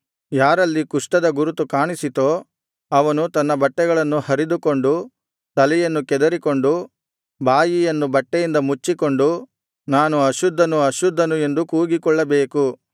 ಯಾರಲ್ಲಿ ಕುಷ್ಠದ ಗುರುತು ಕಾಣಿಸಿತೋ ಅವನು ತನ್ನ ಬಟ್ಟೆಗಳನ್ನು ಹರಿದುಕೊಂಡು ತಲೆಯನ್ನು ಕೆದರಿಕೊಂಡು ಬಾಯಿಯನ್ನು ಬಟ್ಟೆಯಿಂದ ಮುಚ್ಚಿಕೊಂಡು ನಾನು ಅಶುದ್ಧನು ಅಶುದ್ಧನು ಎಂದು ಕೂಗಿಕೊಳ್ಳಬೇಕು